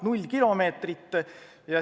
Null kilomeetrit.